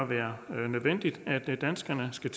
være nødvendigt at danskerne skal